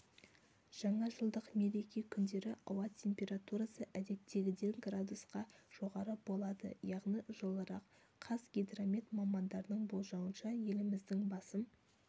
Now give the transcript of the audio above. жаңа жылдық мереке күндері ауа температурасы әдеттегіден градусқа жоғары болады яғни жылырақ қазгидромет мамандарының болжауынша еліміздің басым